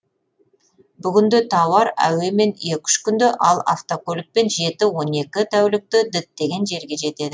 бүгінде тауар әуемен екі үш күнде ал автокөлікпен жеті он екі тәулікте діттеген жерге жетеді